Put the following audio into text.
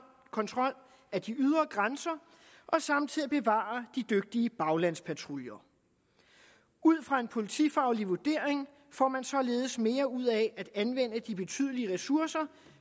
kontrol af de ydre grænser og samtidig at bevare de dygtige baglandspatruljer ud fra en politifaglig vurdering får man således mere ud af at anvende de betydelige ressourcer